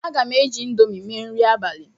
Aga m eji Indomi mee nri abalị